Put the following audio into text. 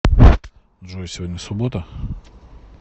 джой сегодня суббота